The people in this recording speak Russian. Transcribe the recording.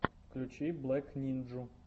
включи блэк нинджу